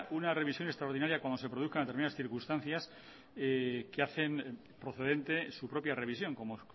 una revisión extraordinaria cuando se produzcan determinadas circunstancias que hacen procedente su propia revisión como